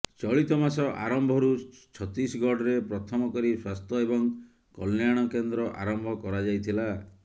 ଚଳିତ ମାସ ଆରମ୍ଭରୁ ଛତିଶଗଡ଼ରେ ପ୍ରଥମ କରି ସ୍ୱାସ୍ଥ୍ୟ ଏବଂ କଲ୍ୟାଣ କେନ୍ଦ୍ର ଆରମ୍ଭ କରାଯାଇଥିଲା